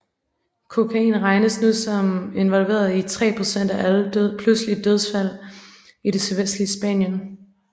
Kokain regnes nu som involveret i tre pct af alle pludselige dødsfald i det sydvestlige Spanien